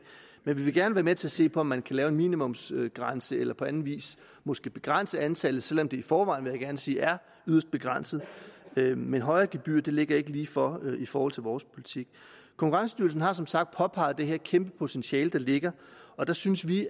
men vi vil gerne være med til at se på om man kan lave en minimumsgrænse eller på anden vis måske begrænse antallet selv om det i forvejen vil jeg gerne sige er yderst begrænset men men højere gebyrer ligger ikke lige for i forhold til vores politik konkurrencestyrelsen har som sagt påpeget det her kæmpe potentiale der ligger og der synes vi